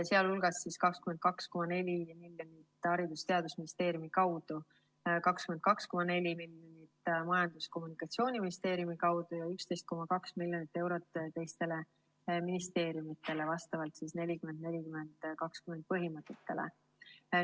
Sealhulgas 22,4 miljonit Haridus‑ ja Teadusministeeriumi kaudu, 22,4 miljonit Majandus‑ ja Kommunikatsiooniministeeriumi kaudu ja 11,2 miljonit eurot teistele ministeeriumitele, vastavalt 40 : 40 : 20 põhimõttele.